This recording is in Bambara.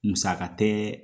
Musaka tɛ